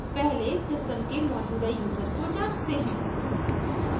पहले system के मौजूदा यूज़र को जांचते हैं